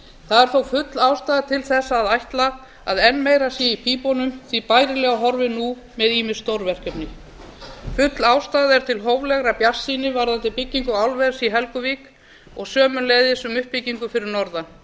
það er þó full ástæða til að ætla að enn meira sé í pípunum því bærilega horfir nú með ýmis stórverkefni full ástæða er til hóflegrar bjartsýni varðandi byggingu álvers í helguvík og sömuleiðis um uppbyggingu fyrir norðan